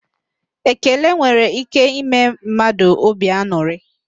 Ekele nwere íké ime mmadụ óbì an̄ụrị.